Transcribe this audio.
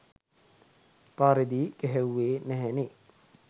පාරේදී ගැහෙව්වේ නැහැ නේ